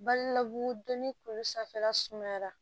Balila ko don ni kulu sanfɛla sumayara